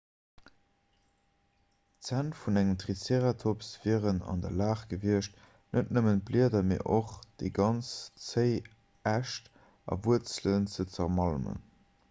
d'zänn vun engem triceratops wieren an der lag gewiescht net nëmmen d'blieder mee och déi ganz zéi äscht a wuerzelen ze zermalmen